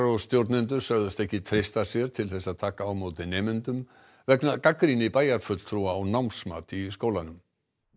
og stjórnendur sögðust ekki treysta sér til að taka á móti nemendum vegna gagnrýni bæjarfulltrúa á námsmat í skólanum